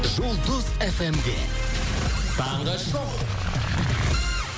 жұлдыз эф эм де таңғы шоу